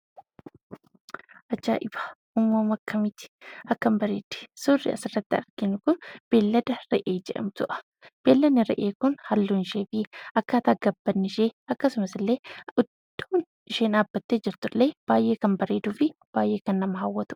Ajaa'iba! Uummama akkamiti! Akkam bareeddi! Suurri asirratti arginu kun beellada re'ee jedhamtudha. Beelladni re'ee kun halluunsheefi akkaataan gabbinnishee akkasumasillee, iddoo isheen dhaabbattee jirtullee baayyee kan bareeduufi baayyee kan nama hawwatudha.